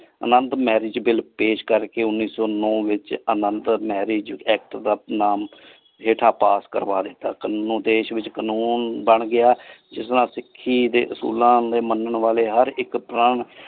ਅਨੰਦੁ marriage ਪੇਸ਼ ਕਰ ਕੇ ਉਨੀ ਸੋ ਨੋ ਵਿਚ ਅਨੰਦੁ marriage ਵਿਚ act ਦਾ ਨਾਮ ਹੇਠਾ ਪਾਸ ਕਰਵਾ ਦਿਤਾ ਦੇਸ਼ ਵਿਚ ਕਾਨੂਨ ਬਣ ਗਯਾ ਜਿਸ ਨਾਲ ਸਿਖੀ ਦੇ ਅਸੂਲਾਂ ਨੂ ਮੰਨਣ ਵਾਲੇ ਹਰ ਹਰ ਇਕ .